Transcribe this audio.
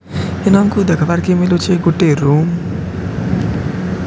ଦେଖ୍ ବାର୍ କେ ମିଲୁଛେ। ଗୋଟେ ରୁମ୍ --